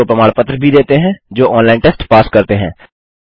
उनको प्रमाण पत्र भी देते हैं जो ऑनलाइन टेस्ट पास करते हैं